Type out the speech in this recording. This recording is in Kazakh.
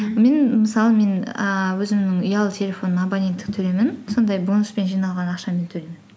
мен мысалы мен ііі өзімнің ұялы телефонымның абоненттік төлемін сондай бонуспен жиналған ақшамен төлеймін